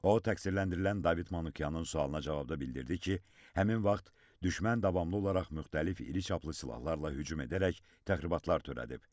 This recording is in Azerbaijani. O təqsirləndirilən David Manukyanın sualına cavabda bildirdi ki, həmin vaxt düşmən davamlı olaraq müxtəlif iri çaplı silahlarla hücum edərək təxribatlar törədib.